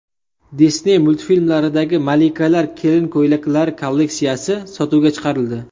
Disney multfilmlaridagi malikalar kelin ko‘ylaklari kolleksiyasi sotuvga chiqarildi .